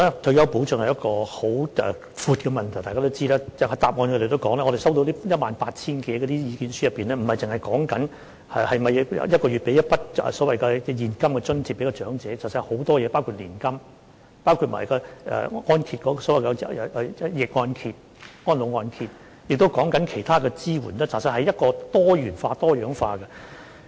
在主體答覆內也提及，在我們接獲的 18,000 多份意見書當中，不單止是討論每月向長者提供一筆所謂現金津貼，而是還有很多其他事情，包括年金、逆按揭、安老按揭，亦提及其他支援，其實是多元化和多樣化的。